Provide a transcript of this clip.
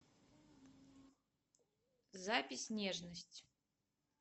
запись нежность